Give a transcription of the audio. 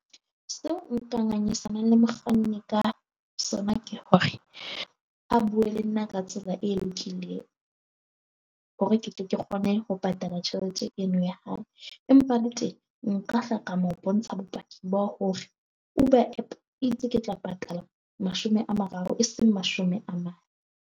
Seo ngangisana le mokganni ka sona ke hore ha bue le nna ka tsela e lokile hore ketle ke kgone ho patala jwang tjhelete eno ya hao empa le teng nka hla ka mo bontsha bopaki bo hore Uber app itse ke tla patala mashome a mararo, e seng mashome a mang.